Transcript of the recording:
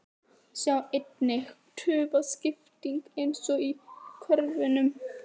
Sjá einnig: Tufa: Skipting eins og í körfuboltanum